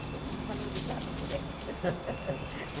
Eu sou muito valorizada por elas.